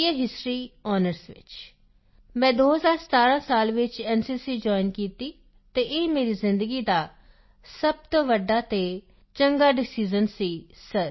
ਏ history honours ਵਿੱਚ ਮੈਂ 2017 ਸਾਲ ਵਿੱਚ ਐਨਸੀਸੀ ਜੋਇਨ ਕੀਤੀ ਅਤੇ ਇਹ ਮੇਰੀ ਜ਼ਿੰਦਗੀ ਦਾ ਸਭ ਤੋਂ ਵੱਡਾ ਅਤੇ ਚੰਗਾ ਡਿਸਾਈਜ਼ਨ ਸੀ ਸਰ